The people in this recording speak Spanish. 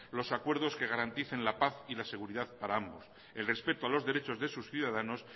los acuerdos que garanticen la paz y la seguridad para ambos el respeto a los derechos de sus ciudadanos